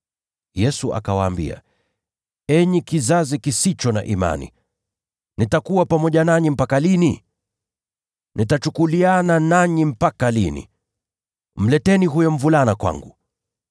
Yesu akawaambia, “Enyi kizazi kisicho na imani! Nitakuwa pamoja nanyi mpaka lini? Nitawavumilia mpaka lini? Mleteni mvulana kwangu.”